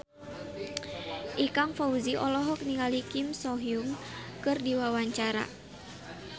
Ikang Fawzi olohok ningali Kim So Hyun keur diwawancara